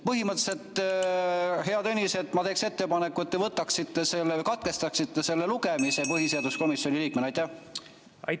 Põhimõtteliselt, hea Tõnis, ma teeksin ettepaneku, et te põhiseaduskomisjoni liikmena võtaksite selle või katkestasite selle lugemise.